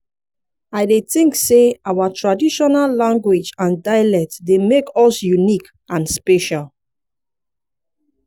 i dey think say our traditional language and dialect dey make us unique and special.